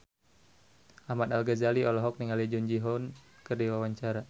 Ahmad Al-Ghazali olohok ningali Jung Ji Hoon keur diwawancara